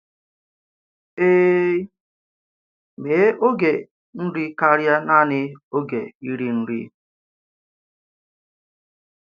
Èè, mee ògé nri kárịà naanị ògé íri nri!